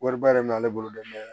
Wariba de bɛ ale bolo dɔɔnin